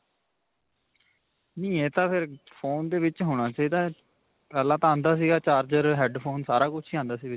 ਨਹੀਂ ਇਹ ਤਾਂ ਫੇਰ ਫੋਨ ਦੇ ਵਿਚ ਹੋਣਾ ਚਾਹੀਦਾ ਹੈ. ਪਹਿਲਾਂ ਤਾਂ ਆਉਂਦਾ ਸੀ charger, head phone ਸਾਰਾ ਕੁੱਝ ਹੀ ਆਉਂਦਾ ਸੀ ਵਿੱਚ.